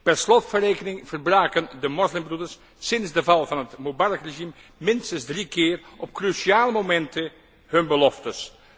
Per slot van rekening verbraken de moslimbroeders sinds de val van het Mubarak regime minstens drie keer op cruciale momenten hun beloftes.